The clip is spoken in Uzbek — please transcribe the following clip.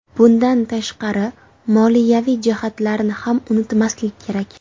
Bundan tashqari, moliyaviy jihatlarni ham unutmaslik kerak.